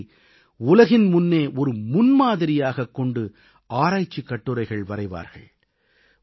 செயல்பாட்டை உலகின் முன்னே ஒரு முன்மாதிரியாகக் கொண்டு ஆராய்ச்சிக் கட்டுரைகள் வரைவார்கள்